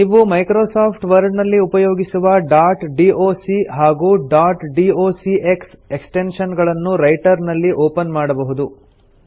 ನೀವು Microsoft Word ನಲ್ಲಿ ಉಪಯೋಗಿಸುವ ಡಾಟ್ ಡಾಕ್ ಹಾಗೂ ಡಾಟ್ ಡಾಕ್ಸ್ ಎಕ್ಸ್ಟೆನ್ಶನ್ ಗಳನ್ನು ರೈಟರ್ ನಲ್ಲಿ ಒಪನ್ ಮಾಡಬಹುದು